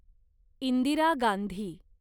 Indira Gandhi